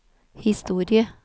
historie